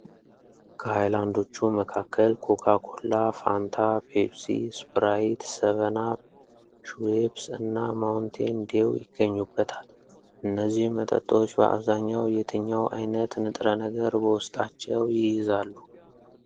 ከሃይላንዶቹ መካከል ኮካ ኮላ፣ ፋንታ፣ ፔፕሲ፣ ስፕራይት፣ ሰቨን አፕ፣ ሽዌፕስ እና ማውንቴን ዴው ይገኙበታል። እነዚህ መጠጦች በአብዛኛው የትኛው ዓይነት ንጥረ ነገር በውስጣቸው ይይዛሉ?